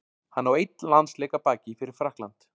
Hann á einn landsleik að baki fyrir Frakkland.